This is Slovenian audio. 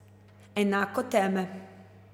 Enako teme.